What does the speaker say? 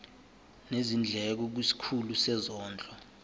nezindleko kwisikhulu sezondlo